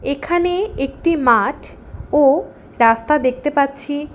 এখানে একটি মাঠ ও রাস্তা দেখতে পাচ্ছি।